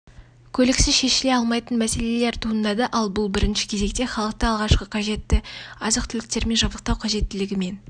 көліксіз шешіле алмайтын мәселелер туындады ал бұл бірінші кезекте халықты алғашқы қажетті азық-түліктермен жабдықтау қажеттілігімен